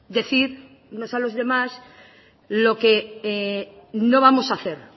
decirnos a los demás lo que no vamos a hacer